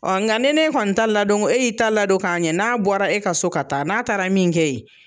nka ne ne kɔni ta ladon, e y'i ta ladon k'a ɲɛ, n'a bɔra, e ka so ka taa, n'a taara min kɛ yen